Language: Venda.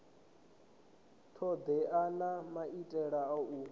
thodea na maitele a u